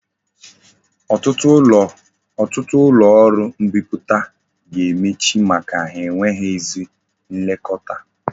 Otutu ulo oru mbiputa ga-emechi maka enweghi ezi nlekota